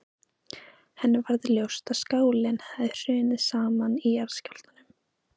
Henni varð ljóst að skálinn hafði hrunið saman í jarðskjálftunum.